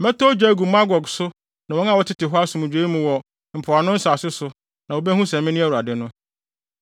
Mɛtɔ ogya agu Magog so ne wɔn a wɔtete hɔ asomdwoe mu wɔ mpoano nsase so no na wobehu sɛ mene Awurade no.